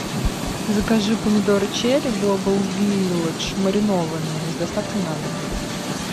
закажи помидоры черри глобал вилладж маринованные с доставкой на дом